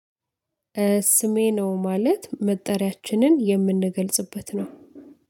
ስሜ ነው ማለት መጠሪያችንን የምንገልጽበት ነው።